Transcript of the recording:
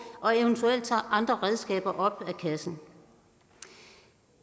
og eventuelt tage andre redskaber op af kassen